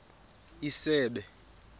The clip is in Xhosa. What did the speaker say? isebe